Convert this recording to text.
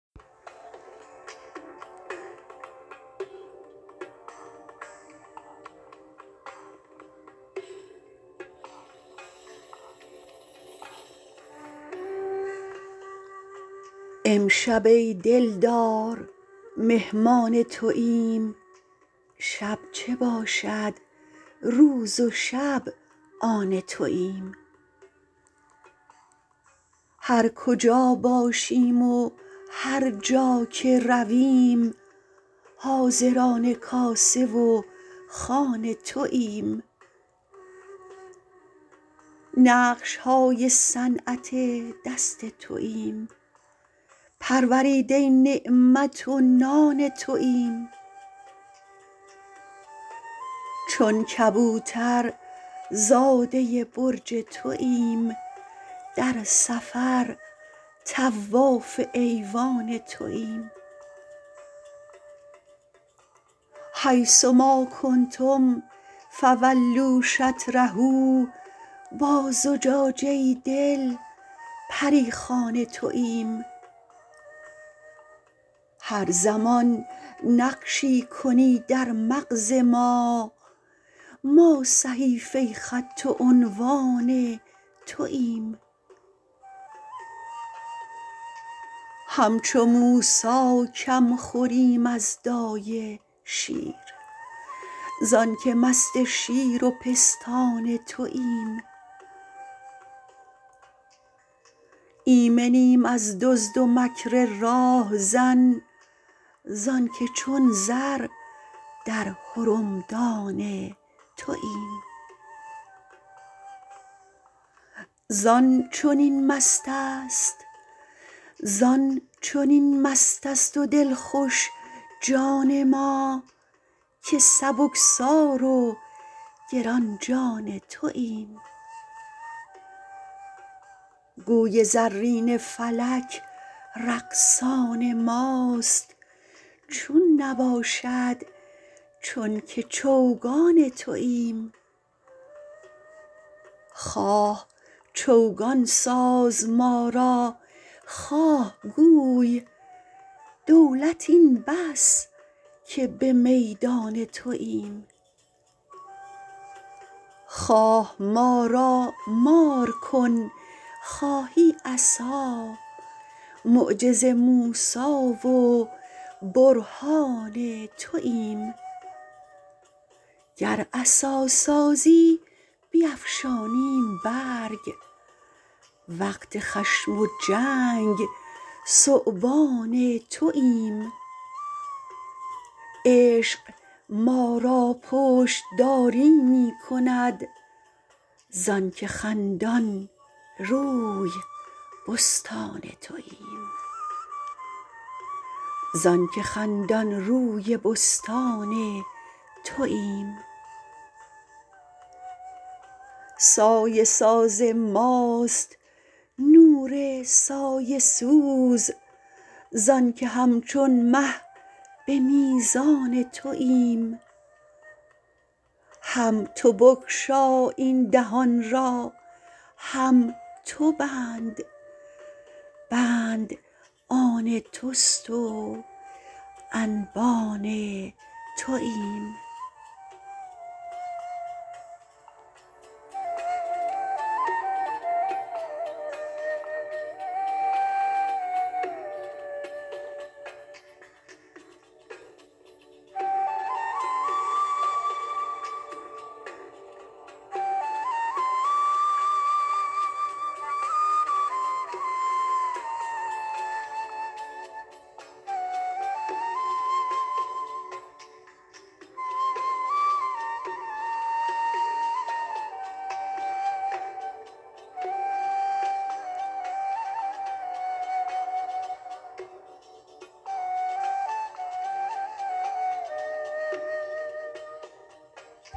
امشب ای دلدار مهمان توییم شب چه باشد روز و شب آن توییم هر کجا باشیم و هر جا که رویم حاضران کاسه و خوان توییم نقش های صنعت دست توییم پروریده نعمت و نان توییم چون کبوترزاده برج توییم در سفر طواف ایوان توییم حیث ما کنتم فولوا شطره با زجاجه دل پری خوان توییم هر زمان نقشی کنی در مغز ما ما صحیفه خط و عنوان توییم همچو موسی کم خوریم از دایه شیر زانک مست شیر و پستان توییم ایمنیم از دزد و مکر راه زن زانک چون زر در حرمدان توییم زان چنین مست است و دلخوش جان ما که سبکسار و گران جان توییم گوی زرین فلک رقصان ماست چون نباشد چون که چوگان توییم خواه چوگان ساز ما را خواه گوی دولت این بس که به میدان توییم خواه ما را مار کن خواهی عصا معجز موسی و برهان توییم گر عصا سازیم بیفشانیم برگ وقت خشم و جنگ ثعبان توییم عشق ما را پشت داری می کند زانک خندان روی بستان توییم سایه ساز ماست نور سایه سوز زانک همچون مه به میزان توییم هم تو بگشا این دهان را هم تو بند بند آن توست و انبان توییم